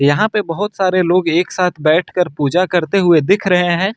यहां पर बहोत सारे लोग एक साथ बैठकर पूजा करते हुए दिख रहे हैं।